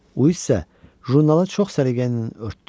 Uis isə jurnalı çox səliqəylə örtdü.